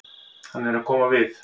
Hann er að koma við.